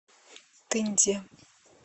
тынде